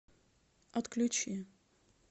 отключи